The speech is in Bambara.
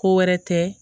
Ko wɛrɛ tɛ